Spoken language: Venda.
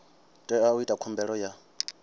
tea u ita khumbelo ya